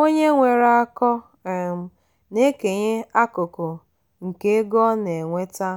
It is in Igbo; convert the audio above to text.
onye nwere akọ um na-ekenye akụkụ nke ego ọ na-enweta